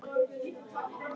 En það eru fleiri.